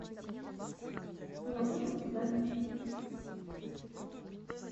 половое воспитание